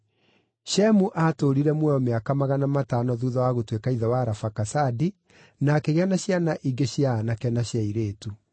Shemu aatũũrire muoyo mĩaka magana matano thuutha wa gũtuĩka ithe wa Arafakasadi, na akĩgĩa na ciana ingĩ cia aanake na cia airĩtu.